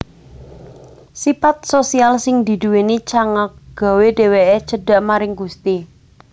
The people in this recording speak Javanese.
Sipat sosial sing diduwèni Cangak gawé dhèwèkké cedak maring Gusti